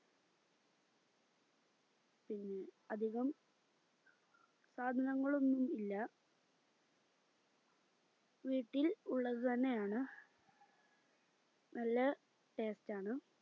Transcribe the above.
പിന്നെ അധികം സാധനങ്ങളൊന്നും ഇല്ല വീട്ടിൽ ഉള്ളതുതന്നെയാണ് നല്ല taste ആണ്